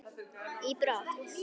í brott.